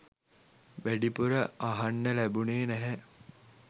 වැඩිපුර අහන්න ලැබුණේ නැහැ.